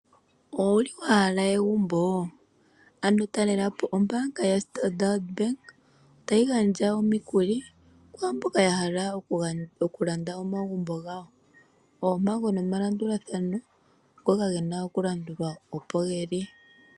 Owuli wa hala egumbo? Ano tatelapo ombaanga yaStandard Bank tayi gandja omikuli kwaamboka ya hala okulanda omagumbo gawo Oompango nomalandulathano ngoka gena okulandulwa opo geli.